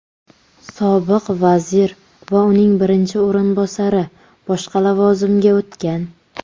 Sobiq vazir va uning birinchi o‘rinbosari boshqa lavozimga o‘tgan.